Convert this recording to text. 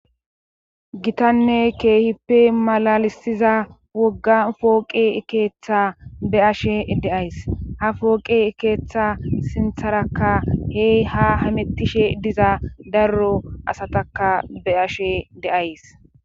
Gitanne keehippe malalisiza wogga pooqe keeththa be' ashe de'as. ha fooqe ekeeththa sintharakka heey ha hamettishe diza darro asataka beyashe de'as.